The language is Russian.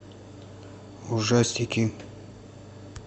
ужастики